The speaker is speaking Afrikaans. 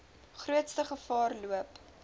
grootste gevaar loop